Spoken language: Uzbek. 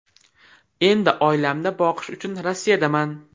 Endi oilamni boqish uchun Rossiyadaman .